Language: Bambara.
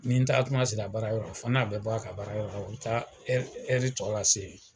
Ni n taatuma sera baara yɔrɔ la, a fan'a bɛ bɔ a ka baara yɔrɔ la u bɛ taa ɛri tɔ lase yen.